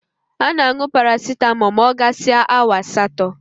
A na-añụ paracitamọ ma ọ gasịa awa asatọ.